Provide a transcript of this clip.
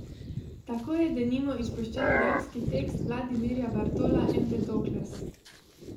Tako je denimo izpuščen dramski tekst Vladimirja Bartola Empedokles.